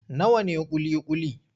Nawa ne ƙuli-ƙuli?